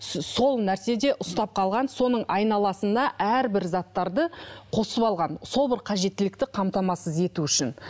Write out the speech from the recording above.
сол нәрсе де ұстап қалған соның айналасына әрбір заттарды қосып алған сол бір қажеттілікті қамтамасыз ету үшін